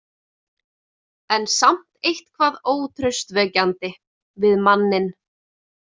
En samt eitthvað ótraustvekjandi við manninn.